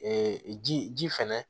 ji ji fɛnɛ